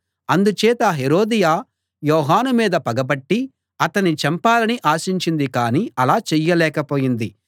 అందుచేత హేరోదియ యోహాను మీద పగపట్టి అతణ్ణి చంపాలని ఆశించింది కానీ అలా చెయ్యలేకపోయింది